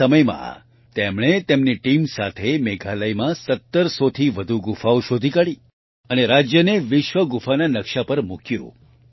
થોડા જ સમયમાં તેમણે તેમની ટીમ સાથે મેઘાલયમાં 1700 થી વધુ ગુફાઓ શોધી કાઢી અને રાજ્યને વિશ્વ ગુફાના નકશા પર મૂક્યું